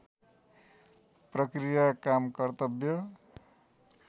प्रक्रिया काम कर्तव्य